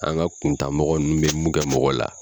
An ka kuntan mɔgɔ nunnu be mun kɛ mɔgɔ la.